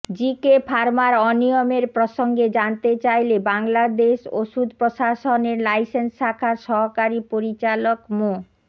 GK ফার্মার অনিয়মের প্রসঙ্গে জানতে চাইলে বাংলাদেশ ওষুধ প্রশাসনের লাইসেন্স শাখার সহকারী পরিচালক মো